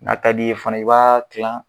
N'a ka di i ye fana i b'a tila